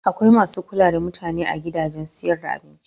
Akwai masu kula da mutane a gidajen siyar da abinci.